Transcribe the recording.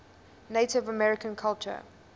native american culture